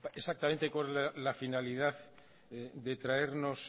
exactamente cuál la finalidad de traernos